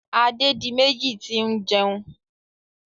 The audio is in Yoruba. Adédiméjì ti ń jẹun.